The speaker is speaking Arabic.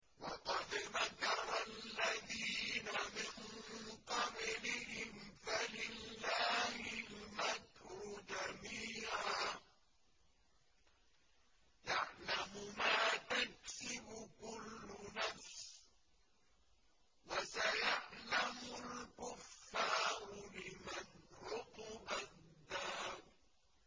وَقَدْ مَكَرَ الَّذِينَ مِن قَبْلِهِمْ فَلِلَّهِ الْمَكْرُ جَمِيعًا ۖ يَعْلَمُ مَا تَكْسِبُ كُلُّ نَفْسٍ ۗ وَسَيَعْلَمُ الْكُفَّارُ لِمَنْ عُقْبَى الدَّارِ